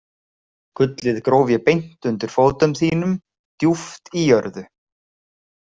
Gullið gróf ég beint undir fótum þínum djúpt í jörðu.